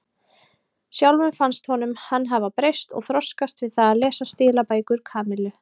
Sjálfum fannst honum hann hafa breyst og þroskast við það að lesa stílabækur Kamillu.